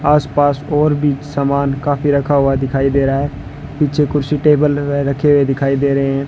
आस-पास और भी समान काफी रखा हुआ दिखाई दे रहा है पीछे कुर्सी टेबल रखे हुए दिखाई दे रहे है।